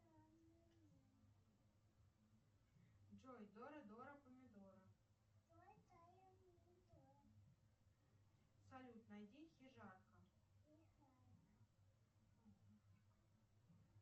джой дора дора помидора салют найди хижарка